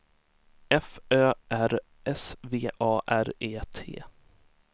F Ö R S V A R E T